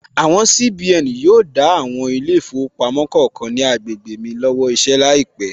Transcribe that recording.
Àwọn CBN yóò dá àwọn ilé ìfowópamọ́ kọ̀ọ̀kan ní agbègbè mi lọ́wọ́ iṣẹ́ láìpẹ̀